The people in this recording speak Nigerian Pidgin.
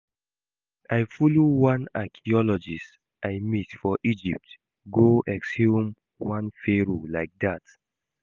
I follow one archeologist I meet for Egypt go exhume one Pharoah like dat